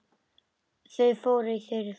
Þau fóru í þurr föt.